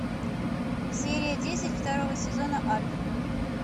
серия десять второго сезона альф